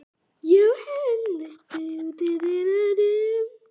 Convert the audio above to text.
Randíður, áttu tyggjó?